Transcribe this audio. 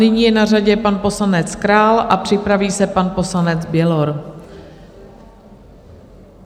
Nyní je na řadě pan poslanec Král a připraví se pan poslanec Bělor.